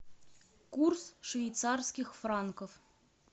курс швейцарских франков